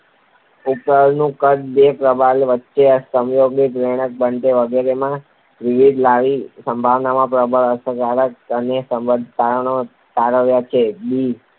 પ્રબલનનું કદ, બે પ્રબલન વચ્ચેનો સમયગાળો, પ્રેરણાની પ્રબળતા વગેરેમાં વિવિધતા લાવી અભિસંધાનમાં પ્રબલનની અસરકારકતા અંગે રસપ્રદ તારણો તારવ્યાં છે.